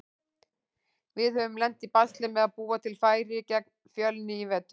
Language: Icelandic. Við höfum lent í basli með að búa til færi gegn Fjölni í vetur.